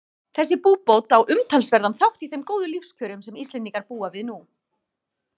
Þessi búbót á umtalsverðan þátt í þeim góðu lífskjörum sem Íslendingar búa nú við.